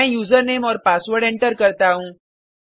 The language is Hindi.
मैं यूजरनेम और पासवर्ड एंटर करता हूँ